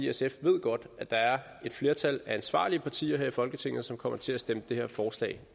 sf ved godt at der er et flertal af ansvarlige partier her i folketinget som kommer til at stemme det her forslag